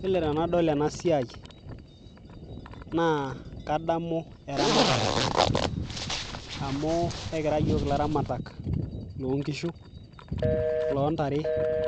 yiolo tenadol ena siai naa kadamu eramatare amu ekira yiok ilaramatak lonkishu lontare